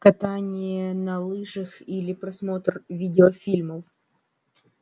катание на лыжах или просмотр видеофильмов